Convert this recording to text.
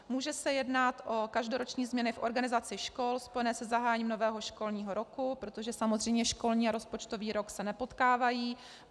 Může se jednat o každoroční změny v organizaci škol spojené se zahájením nového školního roku, protože samozřejmě školní a rozpočtový rok se nepotkávají.